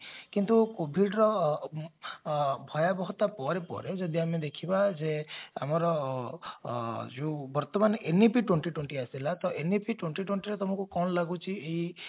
କିନ୍ତୁ covid ର ଭୟାଭୟତା ପରେ ପରେ ଯଦି ଆମେ ଦେଖିବା ଯେ ଆମର ଯଉ ବର୍ତ୍ତମାନ NAP twenty twenty ଆସିଲା ତ NAP twenty twenty ତମକୁ କଣ ଲାଗୁଛି ଏଇ